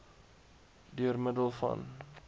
deur middel van